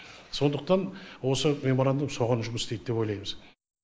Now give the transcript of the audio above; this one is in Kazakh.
сондықтан осы меморандум соған жұмыс істейді деп ойлаймыз